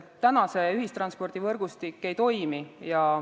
Täna see ühistranspordivõrgustik ei toimi.